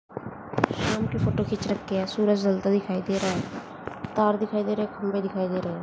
शाम की फोटो खींच रखी है सूरज ढलता दिखाई दे रहा है तार दिखाई दे रहे खंभे दिखाई दे रहे है।